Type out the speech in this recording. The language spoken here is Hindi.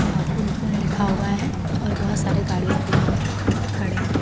आ पुन पुन लिखा हुआ है और बहोत सारे गाड़ियां भी यहां खड़े हैं।